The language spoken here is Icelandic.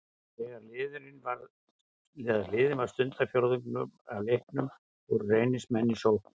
Þegar liðinn var um stundarfjórðungur af leiknum voru Reynismenn í sókn.